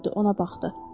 Ona baxdı.